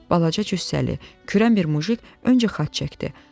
Balaca cüssəli, kürən bir mujik öncə xaç çəkdi.